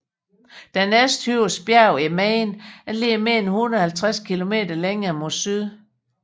Det næsthøjeste bjerg i Maine ligger mere end 150 km længere mod syd